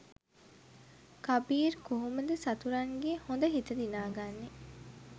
කබීර් කොහොමද සතුරන්ගේ හොඳ හිත දිනා ගන්නෙ?